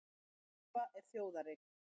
Harpa er þjóðareign